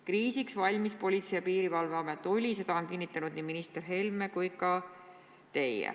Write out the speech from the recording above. Kriisiks valmis Politsei- ja Piirivalveamet oli, seda on kinnitanud minister Helme ja olete ka teie.